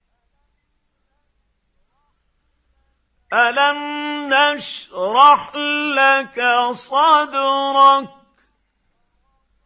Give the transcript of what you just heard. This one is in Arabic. أَلَمْ نَشْرَحْ لَكَ صَدْرَكَ